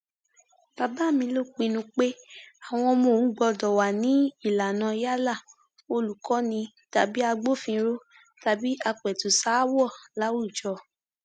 bàbá mi ló pinnu pé àwọn ọmọ òun gbọdọ wà ní ìlànà yálà olùkọni tàbí agbófinró tàbí àpètùsàáwọ láwùjọ